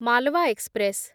Malwa express